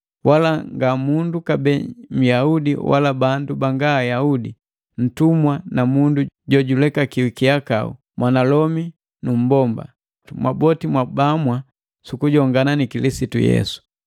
Wala nga mundu kabee Nyahudi wala bandu banga Ayaudi, ntumwa na mundu jojulekakiwi kihakau, mwanalomi nu mmbomba. Mwaboti mwabamwa sukujongana ni Kilisitu Yesu.